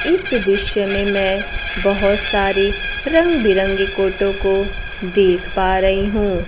इस दृश्य में मैं बहुत सारी रंग बिरंगे कोटो को देख पा रही हूं।